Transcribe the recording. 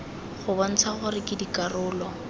go bontsha gore ke dikarolo